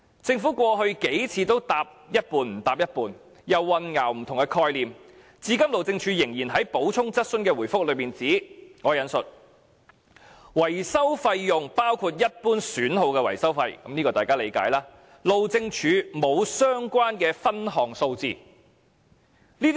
政府過去數次的答覆，都是含糊其詞，又混淆不同的概念，至今路政署仍然在補充質詢的答覆中指出，維修費用包括一般損耗的維修費，路政署沒有相關分項數字。